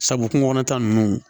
Sabu kungo kɔnɔ ta nunnu